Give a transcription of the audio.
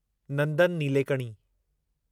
Nandan Nilekani